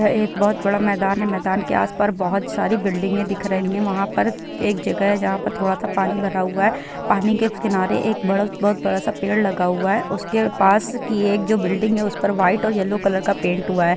यह एक बहुत ही बड़ा मैदान है मैदान के आसपार बहुत सारी बिल्डिंग दिखाई दे रही हैं वहाँ पर एक जगह है जहाँ पर थोड़ा सा पानी भरा हुआ है पानी के किनारे एक बड़ा सा बहोत बड़ा सा पेड़ लगा हुआ है उसके पास की जो एक बिल्डिंग है उस पर वाइट और येलो कलर का पेंट हुआ हैं ।